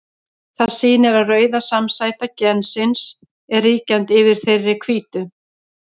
Það sýnir að rauða samsæta gensins er ríkjandi yfir þeirri hvítu.